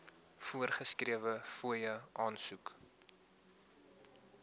voorgeskrewe fooie aansoek